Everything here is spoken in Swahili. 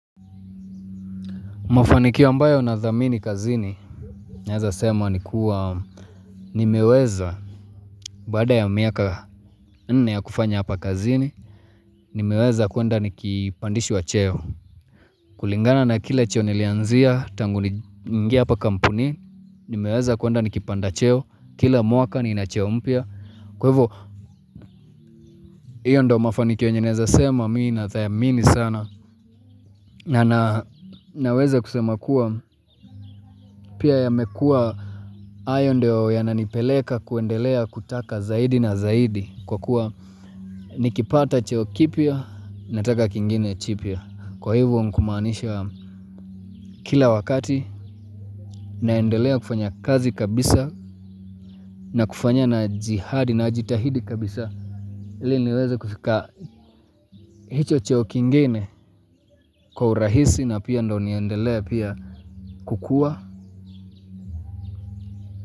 Mafanikio ambayo na dhamini kazini naweza sema ni kuwa nimeweza, baada ya miaka nne ya kufanya hapa kazini, nimeweza kuenda nikipandishwa cheo. Kulingana na kile cheo nilianzia, tangu niingie hapa kampuni, nimeweza kuenda nikipanda cheo, kila mwaka nina cheo mpya. Kwa hivyo, hiyo ndio mafaniki yenye naweza sema mimi nadhamini sana. Na naweze kusema kuwa pia yamekua hayo ndiyo yananipeleka kuendelea kutaka zaidi na zaidi kwa kuwa nikipata cheo kipya nataka kingine chipya. Kwa hivyo mkumaanisha kila wakati naendelea kufanya kazi kabisa na kufanya na jihadi na jitahidi kabisa. Ili niweze kufika hicho cheo kingine kwa urahisi na pia ndo niendelea pia kukua.